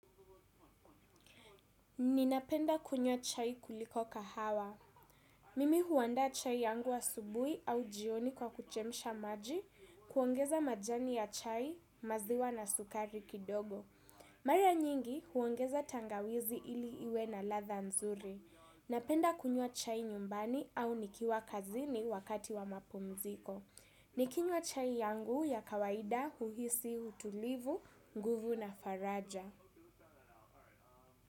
Ninapenda kunywa chai kuliko kahawa. Mimi huandaa chai yangu asubuhi au jioni kwa kuchemsha maji, kuongeza majani ya chai, maziwa na sukari kidogo. Mara nyingi huongeza tangawizi ili iwe na latha nzuri. Napenda kunywa chai nyumbani au nikiwa kazini wakati wa mapumziko. Nikinywa chai yangu ya kawaida huhisi utulivu, nguvu na faraja.